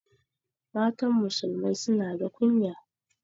Matan musulmai suna da kunya